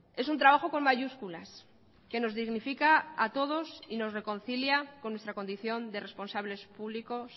es un trabajo con mayúsculas que nos dignifica a todos y nos reconcilia con nuestra condición de responsables públicos